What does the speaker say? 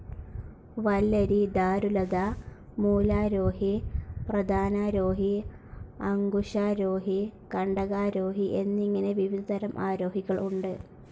വല്ലരി, ദാരുലത, മൂലാരോഹി, പ്രതാനാരോഹി, അങ്കുശാരോഹി, കണ്ടകാരോഹി എന്നിങ്ങനെ വിവിധ തരം ആരോഹികൾ ഉണ്ട്.